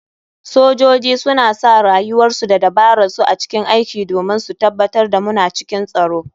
Sojoji suna sa rayuwarsu da dabararsu a cikin aiki domin su tabatar da muna cikin tsaro.